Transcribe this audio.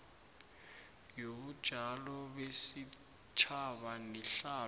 yobunjalo besitjhaba nehlalo